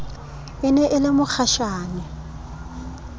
e ne e le mokgashane